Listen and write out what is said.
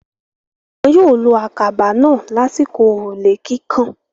Wọn yóò lo àkàbà náà lásìkò òrùlé kíkàn.